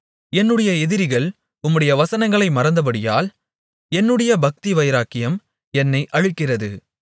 என்னுடைய எதிரிகள் உம்முடைய வசனங்களை மறந்தபடியால் என்னுடைய பக்திவைராக்கியம் என்னை அழிக்கிறது